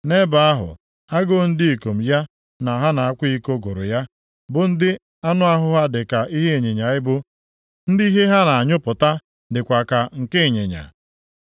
Nʼebe ahụ, agụụ ndị ikom ya na ha na-akwa iko gụrụ ya, bụ ndị anụahụ ha dịka nke ịnyịnya ibu, ndị ihe ha na-anyụpụta dịkwa ka nke ịnyịnya.